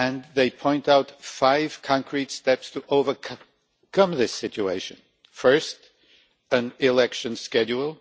They point out five concrete steps to overcome this situation first, an election schedule